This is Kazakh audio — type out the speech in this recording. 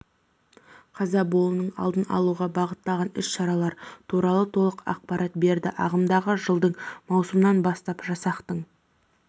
қаза болуының алдын алуға бағытталған іс-шаралар туралы толық ақпарат берді ағымдағы жылдың маусымынан бастап жасақтың